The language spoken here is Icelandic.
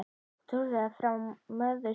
Trúlega frá móður sinni.